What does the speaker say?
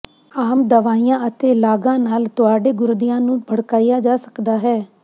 ਆਮ ਦਵਾਈਆਂ ਅਤੇ ਲਾਗਾਂ ਨਾਲ ਤੁਹਾਡੇ ਗੁਰਦਿਆਂ ਨੂੰ ਭੜਕਾਇਆ ਜਾ ਸਕਦਾ ਹੈ